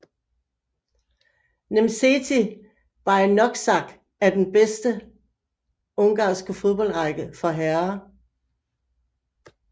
Nemzeti Bajnokság I er den bedste ungarske fodboldrække for herrer